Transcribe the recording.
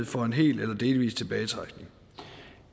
for en hel eller delvis tilbagetrækning